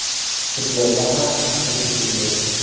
Futbolda ham xuddi shunday.